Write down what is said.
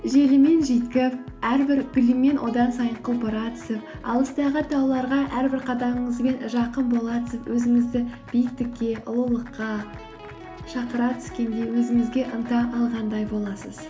желімен жүйткіп әрбір гүлімен одан сайын құлпыра түсіп алыстағы тауларға әрбір қадамыңызбен жақын бола түсіп өзіңізді биіктікке ұлылыққа шақыра түскендей өзіңізге ынта алғандай боласыз